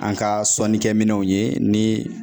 An ka sɔnnikɛ minɛnw ye ni